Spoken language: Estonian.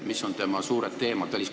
Mis on tema suured teemad?